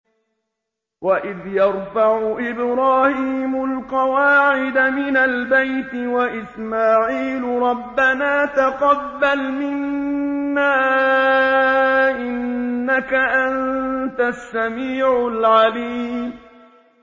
وَإِذْ يَرْفَعُ إِبْرَاهِيمُ الْقَوَاعِدَ مِنَ الْبَيْتِ وَإِسْمَاعِيلُ رَبَّنَا تَقَبَّلْ مِنَّا ۖ إِنَّكَ أَنتَ السَّمِيعُ الْعَلِيمُ